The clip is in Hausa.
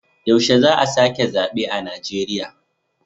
Yaushe za a sake zabe a Najeriya.